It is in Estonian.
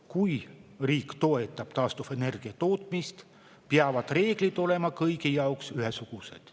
Kui riik toetab taastuvenergia tootmist, peavad reeglid olema kõigi jaoks ühesugused.